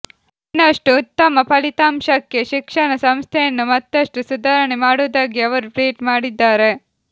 ಇನ್ನಷ್ಟು ಉತ್ತಮ ಫಲಿತಾಂಶಕ್ಕೆ ಶಿಕ್ಷಣ ಸಂಸ್ಥೆಯನ್ನು ಮತ್ತಷ್ಟು ಸುಧಾರಣೆ ಮಾಡುವುದಾಗಿ ಅವರು ಟ್ವಿಟ್ ಮಾಡಿದ್ದಾರೆ